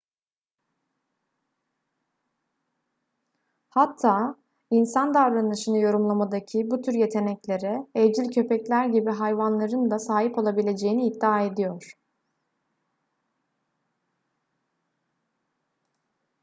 hatta insan davranışını yorumlamadaki bu tür yeteneklere evcil köpekler gibi hayvanların da sahip olabileceğini iddia ediyor